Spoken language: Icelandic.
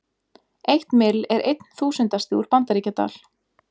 Eitt mill er einn þúsundasti úr Bandaríkjadal.